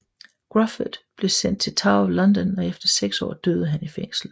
Gruffudd blev sendt til Tower of London og efter seks år døde han i fængslet